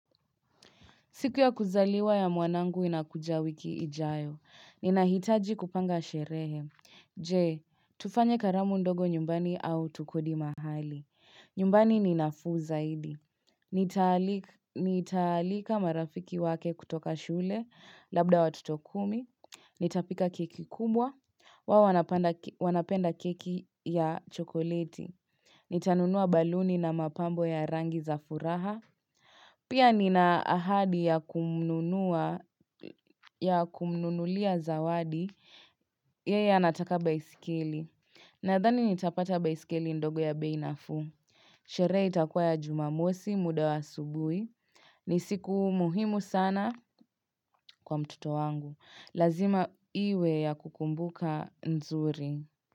Siku ya kuzaliwa ya mwanangu inakuja wiki ijayo. Ninahitaji kupanga sherehe. Je, tufanye karamu ndogo nyumbani au tukodi mahali. Nyumbani ni nafuu zaidi. Nitaalika marafiki wake kutoka shule labda watoto kumi. Nitapika keki kubwa. Huwa wanapenda keki ya chokoleti. Nitanunua baluni na mapambo ya rangi za furaha. Pia nina ahadi ya kumnunua, ya kumnunulia zawadi yeye anataka baiskeli. Nadhani nitapata baiskeli ndogo ya bei nafuu. Sherehe itakuwa ya jumamosi muda wa asubuhi. Ni siku muhimu sana kwa mtoto wangu. Lazima iwe ya kukumbuka nzuri.